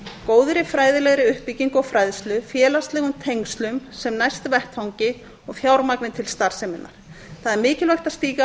góðri fræðilegri uppbyggingu og fræðslu félagslegum tengslum sem næst vettvangi og fjármagni til starfseminnar það er mikilvægt að stíga